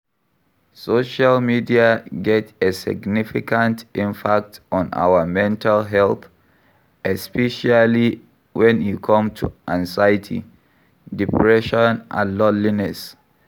Social media get a significant impact on our mental health, especially when e come to anxiety, depression and loneliness.